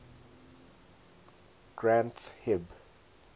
granth hib